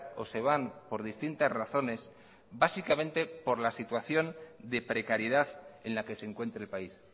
o se van por distintas razones básicamente por la situación de precariedad en la que se encuentra el país